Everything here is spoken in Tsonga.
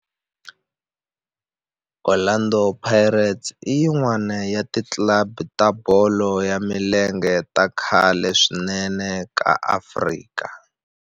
Orlando Pirates i yin'wana ya ti club ta bolo ya milenge ta khale swinene ta Afrika.